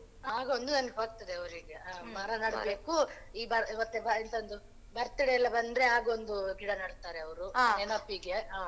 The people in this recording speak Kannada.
ಆಗ ಒಂದು ನೆನಪಾಗ್ತದೆ ಅವ್ರಿಗೆ ಮರ ನೆಡ್ಬೇಕು birthday ಎಲ್ಲ ಬಂದ್ರೆ ಆಗ ಒಂದು ಗಿಡ ನಡ್ತಾರೆ ಅವ್ರು ನೆನಪಿಗೆ ಹ.